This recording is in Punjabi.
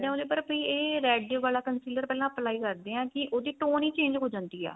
ਉਹਦੇ ਉੱਪਰ ਵੀ ਇਹ red ਵਾਲਾ consider ਪਹਿਲਾਂ apply ਕਰਦੇ ਆ ਕੀ ਉਹਦੀ tone ਹੀ change ਹੋ ਜਾਂਦੀ ਆ